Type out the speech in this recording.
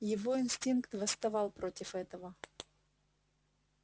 его инстинкт восставал против этого